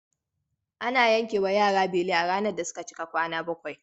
Ana yankewa yara beli a ranar da suka cika kwana bakwai.